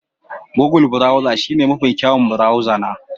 Google browser shine mafi kyawun burauza na